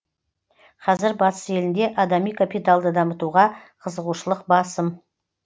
қазір батыс елінде адами капиталды дамытуға қызығушылық басым